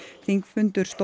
þingfundur stóð